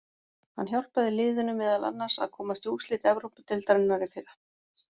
Hann hjálpaði liðinu meðal annars að komast í úrslit Evrópudeildarinnar í fyrra.